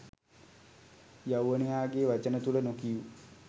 යෞවනයාගේ වචන තුළ නොකියූ